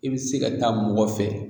E bi se ka taa mɔgɔ fɛ